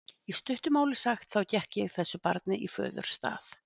Í stuttu máli sagt, þá gekk ég þessu barni í föðurstað.